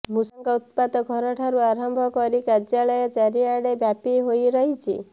ମୂଷାଙ୍କ ଉତ୍ପାତ ଘରଠାରୁ ଆରମ୍ଭ କରି କାର୍ଯ୍ୟାଳୟ ଚାରିଆଡେ ବ୍ୟାପି ହୋଇରହିଛି